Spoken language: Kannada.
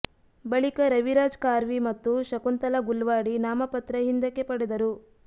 ಬಳಿಕ ರವಿರಾಜ್ ಖಾರ್ವಿ ಮತ್ತು ಶಂಕುತಲಾ ಗುಲ್ವಾಡಿ ನಾಮಪತ್ರ ಹಿಂದಕ್ಕೆ ಪಡೆದರು